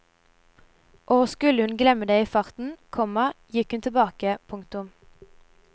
Og skulle hun glemme det i farten, komma gikk hun tilbake. punktum